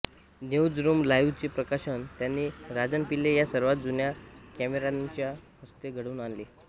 news room live चे प्रकाशन त्यांनी राजन पिल्ले या सर्वात जुन्या कॅमेरामनच्या हस्ते घडवून आणले